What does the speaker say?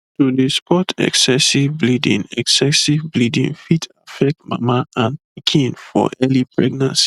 to dey spot excessive bleeding excessive bleeding fit affect mama and pikin for early pregnancy